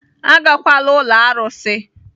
Agakwala ụlọ arụsị!